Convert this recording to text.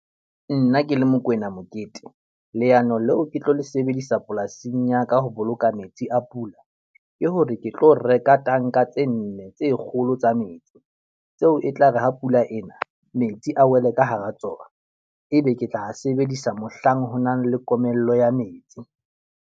Nna ke le Mokoena Mokete, leano leo ke tlo le sebedisa polasing ya ka ho boloka metsi a pula ke hore ke tlo reka tanka tse nne tse kgolo tsa metsi tseo e tla re ha pula ena metsi a wele ka hara tsona. Ebe ke tla a sebedisa mohlang ho nang le komello ya metsi.